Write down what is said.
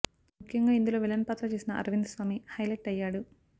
ముఖ్యంగా ఇందులో విలన్ పాత్ర చేసిన అరవింద్ స్వామి హైలెట్ అయ్యాడు